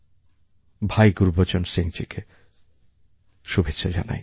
ভাই গুরুবচন সিংজীকে শুভেচ্ছা জানাই